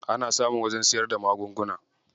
Ana samun wajen siyar da magunguna.